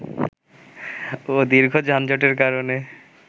ও দীর্ঘ যানজটের কারণে